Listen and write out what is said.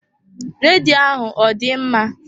Redio ahụ ọ dị mma?